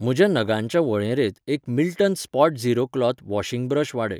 म्हज्या नगांच्या वळेरेंत एक Milton Spotzero cloth washing brush वाडय.